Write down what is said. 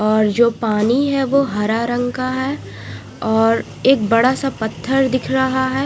और जो पानी है वो हरा रंग का है और एक बड़ा सा पत्थर दिख रहा है।